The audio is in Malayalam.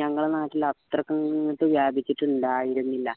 ഞങ്ങടെ നാട്ടിൽ അത്രക്കങ്ങട് വ്യാപിച്ചിട്ടുണ്ടായിരുന്നില്ല